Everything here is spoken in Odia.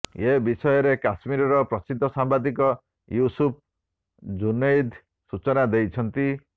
ଏବିଷୟରେ କାଶ୍ମୀରର ପ୍ରସିଦ୍ଧ ସାମ୍ବାଦିକ ୟୁସୁଫ ଜୁନୈଦ ସୂଚନା ଦେଇଛନ୍ତି